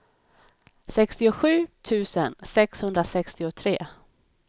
sextiosju tusen sexhundrasextiotre